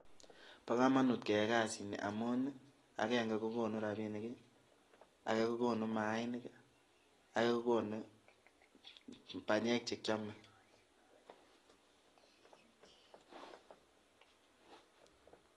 Bo komonut keyai kasini, amun agenge ko konuu rabinik, ake kokonuu mainik, ake kokonuu banyek chekiome.